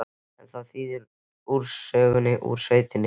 En hvað þýðir úrsögnin úr sveitinni?